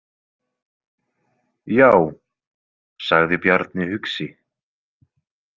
Já, sagði Bjarni hugsi.